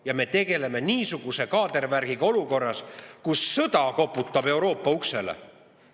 Ja me tegeleme niisuguse kaadervärgiga olukorras, kus sõda koputab Euroopa uksele!